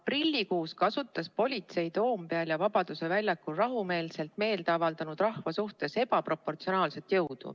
Aprillikuus kasutas politsei Toompeal ja Vabaduse väljakul rahumeelselt meelt avaldanud rahva suhtes ebaproportsionaalset jõudu.